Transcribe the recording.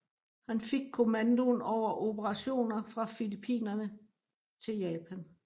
Han fik kommandoen over operationer fra Filippinerne til Japan